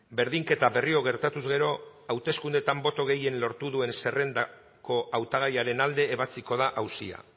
berdinketa berriro gertatuz gero hauteskundeetan boto gehien lortu duen zerrendako hautagaiaren alde ebatziko da auzia